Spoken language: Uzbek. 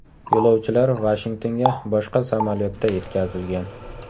Yo‘lovchilar Vashingtonga boshqa samolyotda yetkazilgan.